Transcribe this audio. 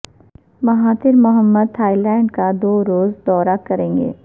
Mahathir Mohamad Thailand کا دو روزہ دورہ کرینگے